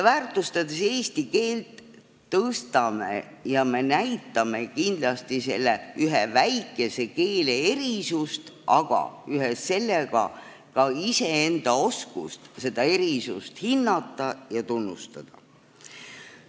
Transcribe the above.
Väärtustades eesti keelt, me näitame kindlasti selle väikese keele erilisust, aga ühes sellega iseenda oskust seda hinnata ja tunnustada.